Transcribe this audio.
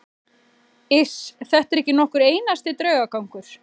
Iss, þetta er ekki nokkur einasti draugagangur.